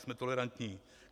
Jsme tolerantní.